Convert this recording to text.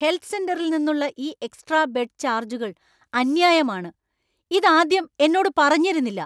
Health സെന്ററിൽ നിന്നുള്ള ഈ എക്സ്ട്രാ ബെഡ് ചാർജ്ജുകള്‍ അന്യായമാണ്. ഇത് ആദ്യം എന്നോട് പറഞ്ഞിരുന്നില്ല.